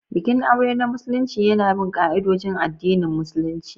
Bikin aure na Musulunci yana bin ka'idojin addinin Musulunci.